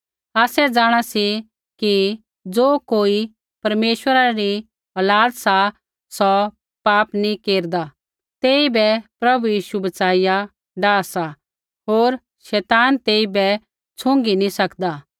आसै जाँणा सी कि ज़ो कोई परमेश्वरा री औलाद सा सौ पाप नैंई केरदा तेइबै प्रभु यीशु बच्चाईया डाह सा होर शैतान तेइबै छुई नैंई सकदा